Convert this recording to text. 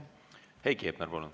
Heiki Hepner, palun!